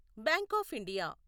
bank of India